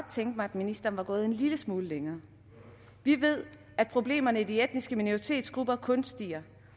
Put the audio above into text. tænke mig at ministeren var gået en lille smule længere vi ved at problemerne i de etniske minoritetsgrupper kun stiger